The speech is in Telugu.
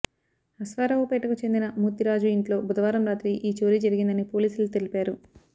అశ్వారావుపేటకు చెందిన మూర్తిరాజు ఇంట్లో బుధవారం రాత్రి ఈ చోరీ జరిగిందని పోలీసులు తెలిపారు